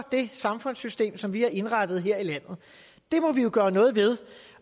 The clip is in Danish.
det samfundssystem som vi har indrettet her i landet det må vi jo gøre noget ved